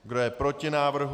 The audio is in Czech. Kdo je proti návrhu?